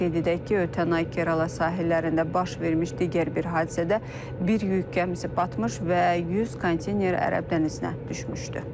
Qeyd edək ki, ötən ay Kerala sahillərində baş vermiş digər bir hadisədə bir yük gəmisi batmış və 100 konteyner Ərəb dənizinə düşmüşdü.